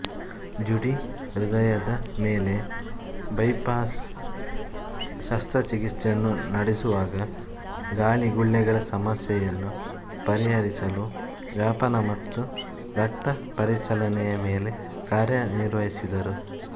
ಜುಡಿ ಹೃದಯದ ಮೇಲೆ ಬೈಪಾಸ್ ಶಸ್ತ್ರಚಿಕಿತ್ಸೆಯನ್ನು ನಡೆಸುವಾಗ ಗಾಳಿಗುಳ್ಳೆಗಳ ಸಮಸ್ಯೆಯನ್ನು ಪರಿಹರಿಸಲು ವ್ಯಾಪನ ಮತ್ತು ರಕ್ತ ಪರಿಚಲನೆಯ ಮೇಲೆ ಕಾರ್ಯುನಿರ್ವಹಿಸಿದರು